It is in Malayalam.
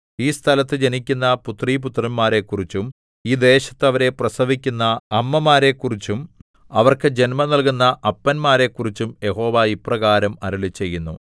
ഈ സ്ഥലത്തു ജനിക്കുന്ന പുത്രീപുത്രന്മാരെക്കുറിച്ചും ഈ ദേശത്ത് അവരെ പ്രസവിക്കുന്ന അമ്മമാരെക്കുറിച്ചും അവർക്ക് ജന്മം നൽകുന്ന അപ്പന്മാരെക്കുറിച്ചും യഹോവ ഇപ്രകാരം അരുളിച്ചെയ്യുന്നു